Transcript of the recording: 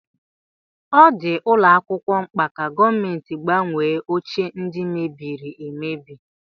Ọ dị ụlọ akwụkwọ mkpa ka gọọmenti gbanwee oche ndi mebiri emebi